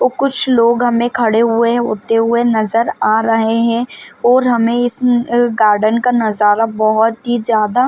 और कुछ लोग हमे खड़े हुए होते हुए नज़र आ रहे है और हमे इस गार्डन का नज़ारा बहुत ही ज्यादा--